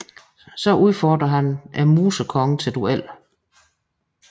Så udfordrer han Musekongen til duel